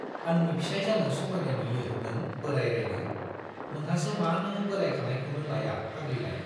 आंनि फिसाइ जानो समायनाय नुयो नों बोराइ राइनो? नोंहासो मानो बोराइखानायखौनो लाया फाग्लिलाय?